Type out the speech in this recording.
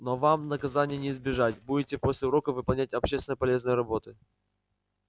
но вам наказания не избежать будете после уроков выполнять общественно полезные работы